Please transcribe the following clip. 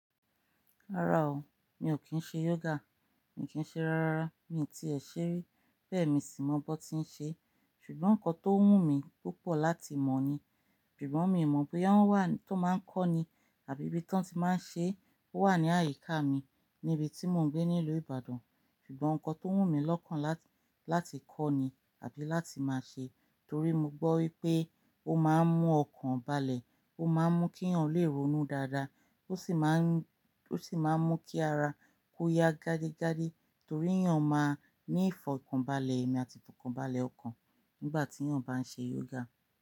Rárá o, mi ò kí ń ṣe yoga, mi kì í ṣe rárá, mi ti èṣe rí, bẹ́ẹ̀ mi sì mọ bó ti ń ṣe, ṣùgbọ́n nǹkan tó wù mí púpọ̀ láti mọ̀ ni, sugbon mi mọ̀ boya woń wá tó máa ń kọ́ni àbí ibi tí wọ́n ti máa ń ṣe, ó wà ní àyíká mi níbi tí mò ń gbé nílùú Ìbàdàn, ṣùgbọ́n nǹkan tó wù mí lọ́kàn láti kọ́ni àbí láti máa ṣe torí mo gbọ́ wípé ó máa ń mú ọkàn balẹ̀, ó máa ń mú kí yàn lè ronú dáadáa, ó sì máa ń, ó sì máa ń mú kí ara kó ya gágí gádí torí yàn máa ní ìfọ̀kànbalẹ̀ ẹmi àti ìfọ̀kànbalẹ̀ ọkàn nígbà tí yàn bá ń ṣe yoga.